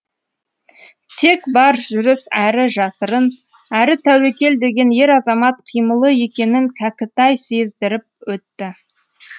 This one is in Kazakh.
тек бар жүріс әрі жасырын әрі тәуекел деген ер азамат қимылы екенін кәкітай сездіріп өтті